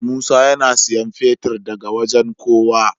Musa yAna siyan fetir daka wajan kowa